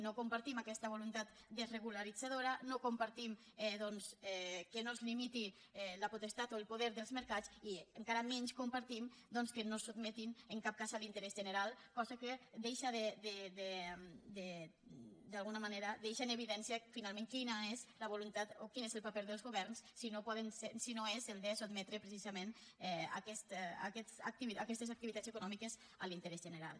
no compartim aquesta voluntat desregularitzadora no compartim doncs que no es limiti la potestat o el poder dels mercats i encara menys compartim que no es sotmetin en cap cas a l’interès general cosa que d’alguna manera deixa en evidència finalment quina és la voluntat o quin és el paper dels governs si no és el de sotmetre precisament aquestes activitats econòmiques a l’interès general